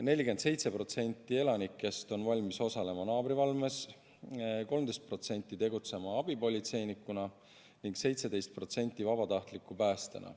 47% elanikest on valmis osalema naabrivalves, 13% on valmis tegutsema abipolitseinikuna ning 17% vabatahtliku päästjana.